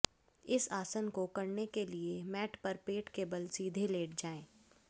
इस आसन को करने के लिए मैट पर पेट के बल सीधे लेट जाएं